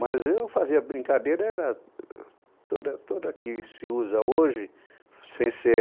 Mas eu fazia brincadeira, era toda toda que se usa hoje, sem ser